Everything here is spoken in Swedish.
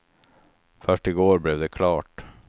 Först i går blev det klart.